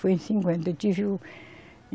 Foi em cinquenta que eu tive o.